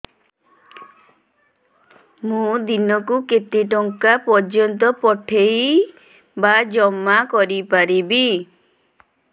ମୁ ଦିନକୁ କେତେ ଟଙ୍କା ପର୍ଯ୍ୟନ୍ତ ପଠେଇ ବା ଜମା କରି ପାରିବି